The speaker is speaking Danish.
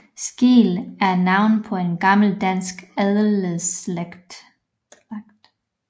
Skeel er navnet på en gammel dansk adelsslægt